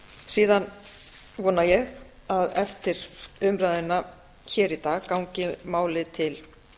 síðan vona ég að eftir umræðuna hér í dag gangi málið til